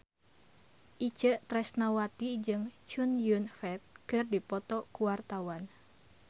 Itje Tresnawati jeung Chow Yun Fat keur dipoto ku wartawan